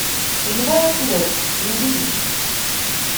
живая плоть набери